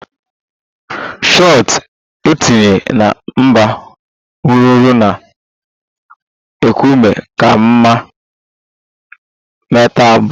Shot etinye na mbụ rụrụ na a nkume kama a metal bọl